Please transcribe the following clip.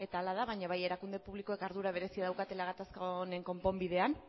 hala da baina bai erakunde publikoek ardura berezia daukatela gatazka honen konponbidean